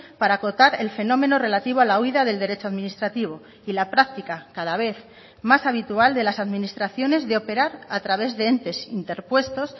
para acotar el fenómeno relativo a la huída del derecho administrativo y la práctica cada vez más habitual de las administraciones de operar a través de entes interpuestos